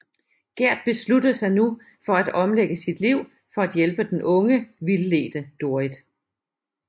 Gerd beslutter sig nu for at omlægge sit liv for at hjælpe den unge vildledte Dorrit